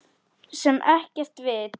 Sem er ekkert vit.